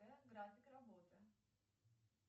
график работы